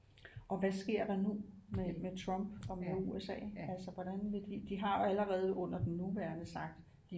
Og hvad sker der nu med med Trump og med USA altså hvordan vil de de har jo allerede under den nuværende sagt